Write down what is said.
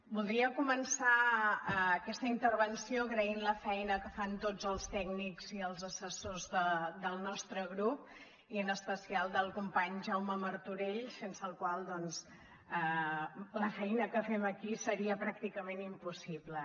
voldria començar aquesta intervenció agraint la feina que fan tots els tècnics i els assessors del nostre grup i en especial del company jaume martorell sense el qual la feina que fem aquí seria pràcticament impossible